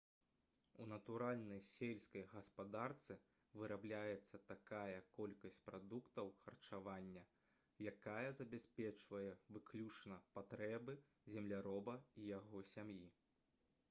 у натуральнай сельскай гаспадарцы вырабляецца такая колькасць прадуктаў харчавання якая забяспечвае выключна патрэбы земляроба і яго сям'і